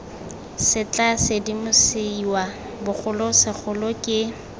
se tla sedimosiwa bogolosegolo ke